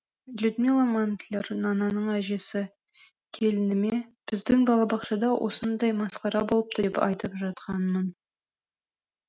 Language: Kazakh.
людмила мантлер нананың әжесі келініме біздің балабақшада осындай масқара болыпты деп айтып жатқанмын